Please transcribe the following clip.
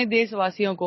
audio